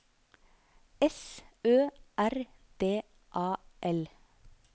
S Ø R D A L